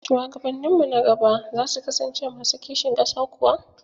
Shuwagabanninmu na gaba za su kasance masu kishin ƙasa kuwa?